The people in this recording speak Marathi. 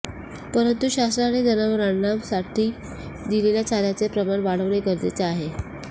परंतु शासनाने जनावरांना साठी दिलेल्या चाऱ्याचे प्रमाण वाढविणे गरजेचे आहे